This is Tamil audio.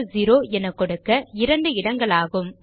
123400 என கொடுக்க இரண்டு இடங்களாகும்